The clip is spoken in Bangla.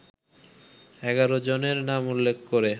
১১ জনের নাম উল্লেখ করে